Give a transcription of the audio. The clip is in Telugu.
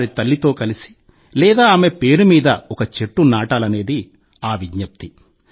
వారి తల్లితో కలిసి లేదా ఆమె పేరు మీద ఒక చెట్టు నాటాలనేది ఆ విజ్ఞప్తి